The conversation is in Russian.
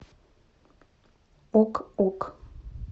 ок ок